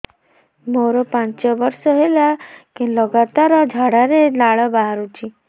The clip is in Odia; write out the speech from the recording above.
ମୋରୋ ପାଞ୍ଚ ବର୍ଷ ହେଲା ଲଗାତାର ଝାଡ଼ାରେ ଲାଳ ବାହାରୁଚି